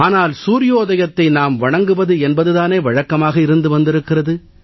ஆனால் சூர்யோதயத்தை நாம் வணங்குவது என்பது தானே வழக்கமாக இருந்து வந்திருக்கிறது